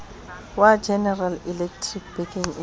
wa general electric bekeng e